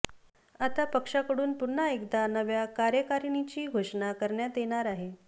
आता पक्षाकडून पुन्हा एकदा नव्या कार्यकारिणीची घोषणा करण्यात येणार आहे